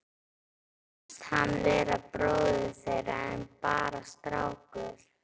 Fannst hann vera bróðir þeirra en bara strákur.